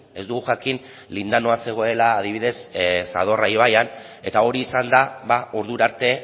ez dugu jakin lindanoa zegoela adibidez zadorra ibaian eta hori izan da ordura arte